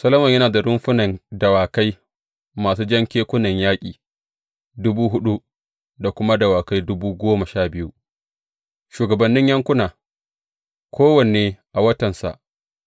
Solomon yana da rumfunan dawakai masu jan kekunan yaƙi, dubu huɗu, da kuma dawakai dubu goma sha biyu Shugabannin yankuna, kowanne a watansa